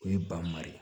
O ye banma ye